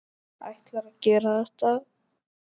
Ætlarðu að gera þetta?